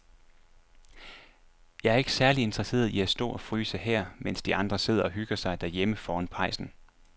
Jeg er ikke særlig interesseret i at stå og fryse her, mens de andre sidder og hygger sig derhjemme foran pejsen.